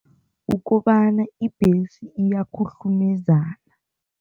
Ukobana ibhesi iyakhuhlumezana.